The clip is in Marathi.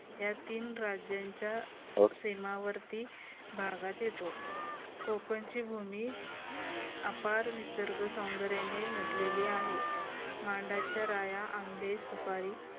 या तीन राज्यांच्या सीमेवरती भागात येतो कोकणची भूमी अफाट निसर्ग सौंदर्याने नटलेली आहे. माडांच्या राया आंबे सुपारी